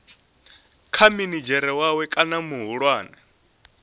kha minidzhere wawe kana muhulwane